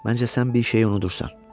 Məncə sən bir şeyi unudursan.